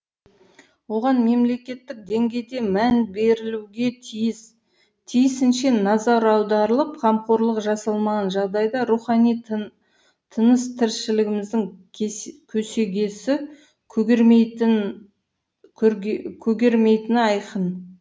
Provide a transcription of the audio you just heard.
оған мемлекеттік деңгейде мән берілуге тиіс тиісінше назар аударылып қамқорлық жасалмаған жағдайда рухани тыныс тіршілігіміздің көсегесі көгермейтіні айқын